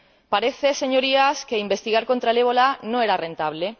Parece, Señorías, que investigar contra el ébola no era rentable.